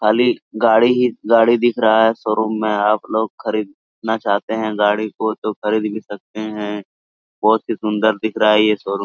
खाली गाड़ी ही गाड़ी दिख रहा है शोरूम में आप लोग खरीदना चाहते हैं गाड़ी को तो खरीद भी सकते हैं बहुत ही सुंदर दिख रहा है ये शोरूम ।